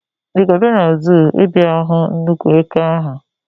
Ị ga-abịa na zuu ịbịa hụ nnukwu eke ahụ?